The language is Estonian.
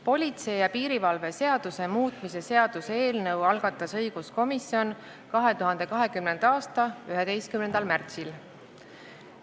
Politsei ja piirivalve seaduse muutmis seaduse eelnõu algatas õiguskomisjon 2020. aasta 11. märtsil.